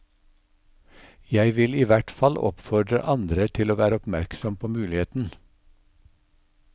Jeg vil i hvert fall oppfordre andre til å være oppmerksom på muligheten.